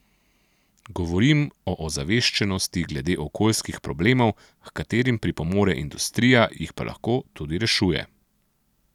Govorim o ozaveščenosti glede okoljskih problemov, h katerim pripomore industrija, jih pa lahko tudi rešuje.